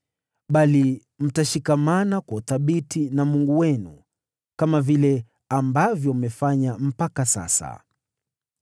Bali mtashikamana kwa uthabiti na Bwana , Mungu wenu, kama vile ambavyo mmefanya mpaka sasa.